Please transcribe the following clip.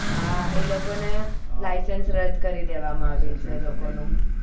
હા એ લોકો ને licence રદ કરી દેવા માં આવ્યું છે એ લોકો નું